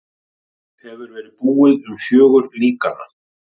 Hefur verið búið um fjögur líkanna.